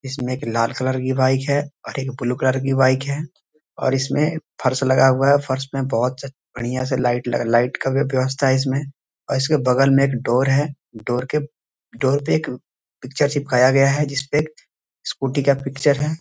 इसमें एक लाल कलर की बाइक है और एक ब्लू कलर की बाइक है और इसमें फर्श लगा हुआ है | फर्श में बोहोत बढ़िया से लाइट लाइट का भी व्यवस्था है इसमें और इसके बगल में एक डोर है | डोर के डोर पे एक पिक्चर चिपकाए गया है जिस पे स्कूटी का पिक्चर है |